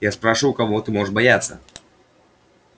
я спрошу кого ты можешь бояться